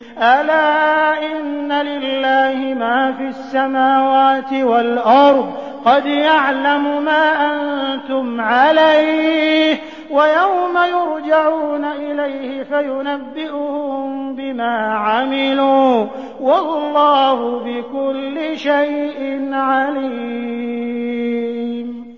أَلَا إِنَّ لِلَّهِ مَا فِي السَّمَاوَاتِ وَالْأَرْضِ ۖ قَدْ يَعْلَمُ مَا أَنتُمْ عَلَيْهِ وَيَوْمَ يُرْجَعُونَ إِلَيْهِ فَيُنَبِّئُهُم بِمَا عَمِلُوا ۗ وَاللَّهُ بِكُلِّ شَيْءٍ عَلِيمٌ